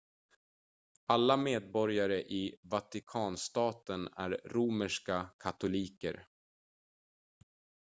alla medborgare i vatikanstaten är romerska katoliker